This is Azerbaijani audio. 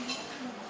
Yaxşıdır.